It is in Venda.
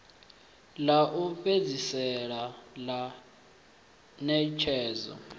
ḽa u fhedzisela ḽa ṋetshedzo